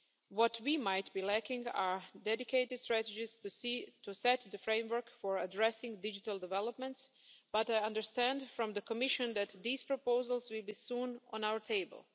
What we might be lacking are dedicated strategies to set the framework for addressing digital developments but I understand from the Commission that these proposals will be soon on our table.